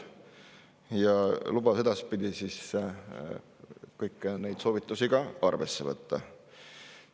Minister lubas edaspidi kõiki neid soovitusi ka arvesse võtta.